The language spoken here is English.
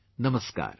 Namaskar